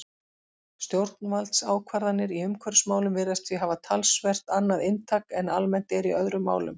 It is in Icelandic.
Stjórnvaldsákvarðanir í umhverfismálum virðast því hafa talsvert annað inntak en almennt er í öðrum málum.